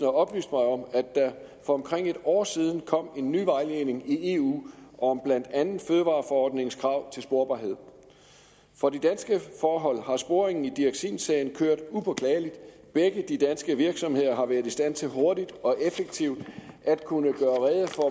oplyst mig om at der for omkring et år siden kom en ny vejledning i eu om blandt andet fødevareforordningens krav til sporbarhed for de danske forhold har sporingen i dioxinsagen kørt upåklageligt begge de danske virksomheder har været i stand til hurtigt og effektivt at kunne gøre rede for